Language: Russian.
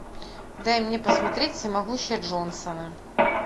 дай мне посмотреть всемогущие джонсоны